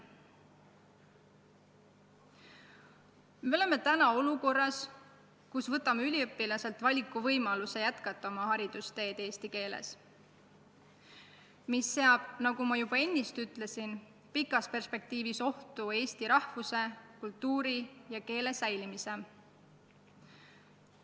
Seega oleme olukorras, kus me võtame üliõpilaselt valikuvõimaluse jätkata oma haridusteed eesti keeles ja see seab, nagu ma juba ütlesin, pikas perspektiivis ohtu eesti rahvuse, kultuuri ja keele säilimise.